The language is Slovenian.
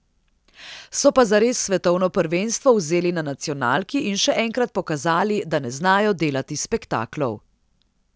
So pa zares svetovno prvenstvo vzeli na nacionalki in še enkrat pokazali, da ne znajo delati spektaklov.